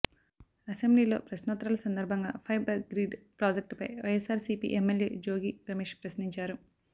అసెంబ్లీలో ప్రశ్నోత్తరాల సందర్భంగా ఫైబర్గ్రిడ్ ప్రాజెక్టుపై వైఎస్సార్సీపీ ఎమ్మెల్యే జోగి రమేష్ ప్రశ్నించారు